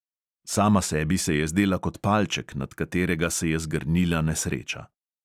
Sama sebi se je zdela kot palček, nad katerega se je zgrnila nesreča.